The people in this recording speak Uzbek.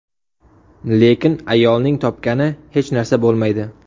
Lekin ayolning topgani hech narsa bo‘lmaydi.